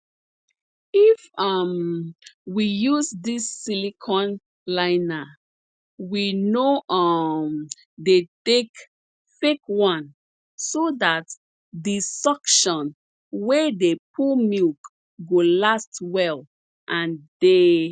if um we use dis silicone liner we no um dey take fake one so dat di suction wey dey pull milk go last well and dey